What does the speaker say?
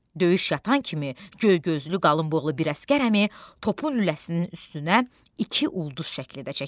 Döyüş yatan kimi göy gözlü, qalınboğazlı bir əsgər əmi topun lüləsinin üstünə iki ulduz şəkli də çəkir.